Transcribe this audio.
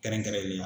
Kɛrɛnkɛrɛnnenya